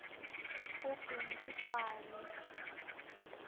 kubhimbidvwane